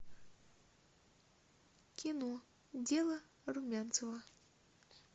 кино дело румянцева